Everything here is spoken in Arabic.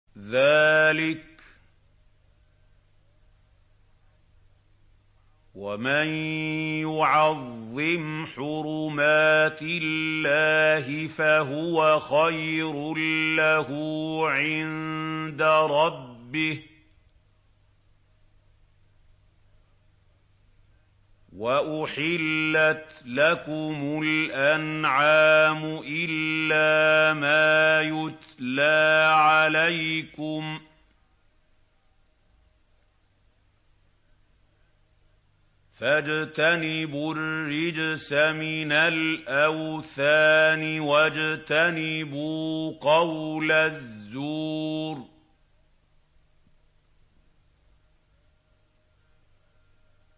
ذَٰلِكَ وَمَن يُعَظِّمْ حُرُمَاتِ اللَّهِ فَهُوَ خَيْرٌ لَّهُ عِندَ رَبِّهِ ۗ وَأُحِلَّتْ لَكُمُ الْأَنْعَامُ إِلَّا مَا يُتْلَىٰ عَلَيْكُمْ ۖ فَاجْتَنِبُوا الرِّجْسَ مِنَ الْأَوْثَانِ وَاجْتَنِبُوا قَوْلَ الزُّورِ